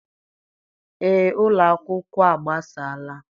Ee, ụlọ akwụkwọ a gbasaala.